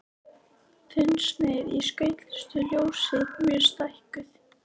Þunnsneið í skautuðu ljósi mjög stækkuð.